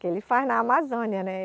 Que ele faz na Amazônia, né?